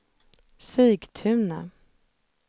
Sigtuna